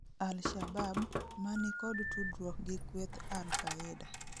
Alshabab, mani kod tudruok gi kweth Alkaida